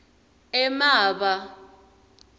emaba